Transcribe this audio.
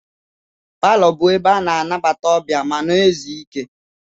Paló bụ ebe ana anabata ọbịa, ma na ézú ike.